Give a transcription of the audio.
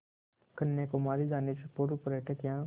कन्याकुमारी जाने से पूर्व पर्यटक यहाँ